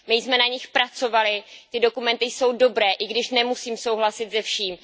My jsme na nich pracovali, ty dokumenty jsou dobré, i když nemusím souhlasit se vším.